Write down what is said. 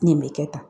Nin bɛ kɛ tan